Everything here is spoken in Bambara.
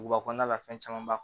Duguba kɔnɔna la fɛn caman b'a kɔnɔ